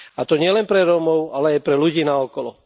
A to nielen pre Rómov, ale aj pre ľudí naokolo.